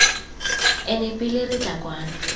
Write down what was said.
ene pele re tla kwano